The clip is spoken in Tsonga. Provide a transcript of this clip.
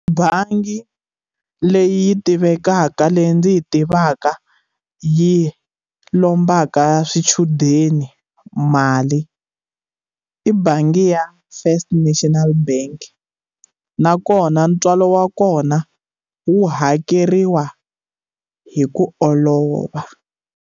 Bangi leyi tivekaka leyi ndzi yi tivaka yi lombaka swichudeni mali i bangi ya first national bank nakona ntswalo wa kona wu hakeriwa hi ku olova.